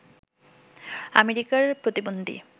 আমেরিকার প্রতিবন্ধী